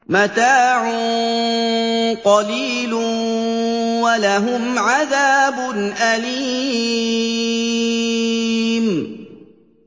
مَتَاعٌ قَلِيلٌ وَلَهُمْ عَذَابٌ أَلِيمٌ